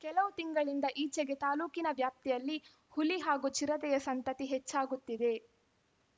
ಕೆಲವು ತಿಂಗಳಿಂದ ಈಚೆಗೆ ತಾಲೂಕಿನ ವ್ಯಾಪ್ತಿಯಲ್ಲಿ ಹುಲಿ ಹಾಗೂ ಚಿರತೆಯ ಸಂತತಿ ಹೆಚ್ಚಾಗುತ್ತಿದೆ